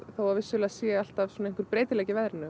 þó að vissulega sé alltaf einhver breytileiki í veðri